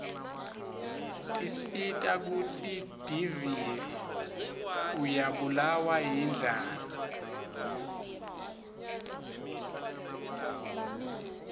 tisita kutsi divie uryabulawa yirdlala